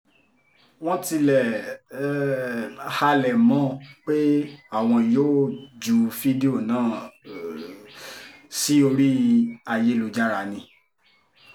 wọ́n tiẹ̀ um halẹ̀ mọ́ ọn pé àwọn yóò ju fídíò náà um sí orí ayélujára ni